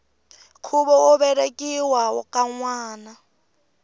khuvo wo velekiwa ka nwana